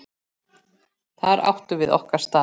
Þar áttum við okkar stað.